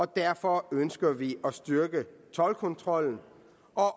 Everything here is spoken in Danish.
derfor ønsker vi at styrke toldkontrollen